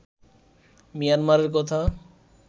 মিয়ানমারের কথা